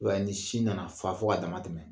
I b'a ye ni sin nana fa fo ka dama tɛmɛ